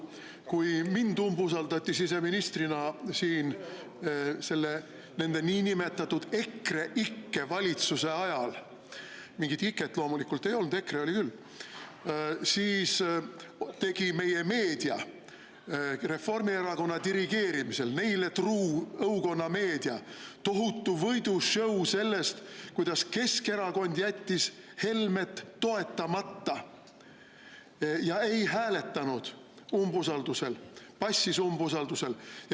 Kui mind kui siseministrit umbusaldati siin niinimetatud EKREIKE valitsuse ajal – mingit iket loomulikult ei olnud, EKRE oli küll –, siis tegi meedia Reformierakonna dirigeerimisel, neile truu õukonnameedia, tohutu võidu-show sellest, kuidas Keskerakond jättis Helme toetamata ja ei hääletanud, vaid passis umbusaldusel.